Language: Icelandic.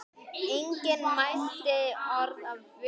Enginn mælti orð af vörum.